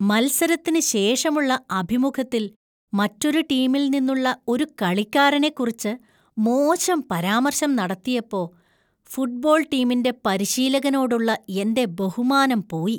മത്സരത്തിന് ശേഷമുള്ള അഭിമുഖത്തിൽ മറ്റൊരു ടീമിൽ നിന്നുള്ള ഒരു കളിക്കാരനെക്കുറിച്ച് മോശം പരാമർശം നടത്തിയപ്പോ ഫുട്ബോൾ ടീമിന്‍റെ പരിശീലകനോടുള്ള എന്‍റെ ബഹുമാനം പോയി .